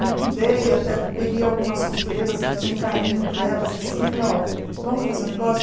Liquidei, até peguei algumas costureiras que eu tinha um carinho por elas, assim, falei, ó, vamos fazer um negócio?